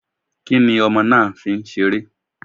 Kí ni ọmọ náà fi ń seré?